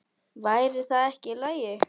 Væri það ekki í lagi?